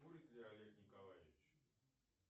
курит ли олег николаевич